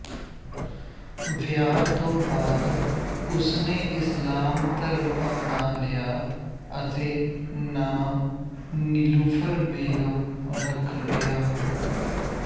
ਵਿਆਹ ਤੋਂ ਬਾਅਦ ਉਸਨੇ ਇਸਲਾਮ ਧਰਮ ਅਪਣਾ ਲਿਆ ਅਤੇ ਨਾਮ ਨੀਲੂਫ਼ਰ ਬੇਗਮ ਰੱਖ ਲਿਆ